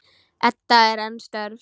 Edda er enn stjörf.